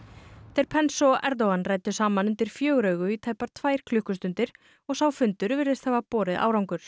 þeir Pence og Erdogan ræddu saman undir fjögur augu í tæpar tvær klukkustundir og sá fundur virðist hafa borið árangur